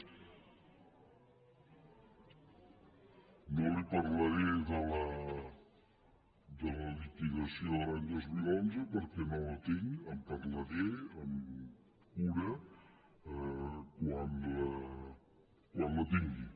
no li parlaré de la liquidació de l’any dos mil onze perquè no la tinc en parlaré amb cura quan la tingui